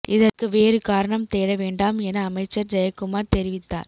இதற்கு வேறு காரணம் தேட வேண்டாம் என அமைச்சர் ஜெயக்குமார் தெரிவித்தார்